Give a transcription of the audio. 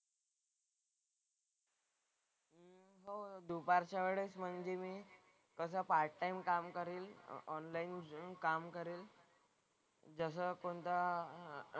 हो दुपारच्या वेळेस म्हणजे मी कसं मी पार्ट टाइम काम करेल. ऑनलाईन घेऊन काम करेन. जसं कोणता,